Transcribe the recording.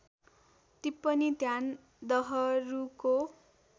टिप्पणी ध्यान दहरूको